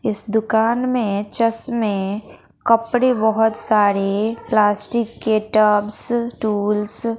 इस दुकान में चश्मे कपड़े बहुत सारे प्लास्टिक के टब्स टूल्स --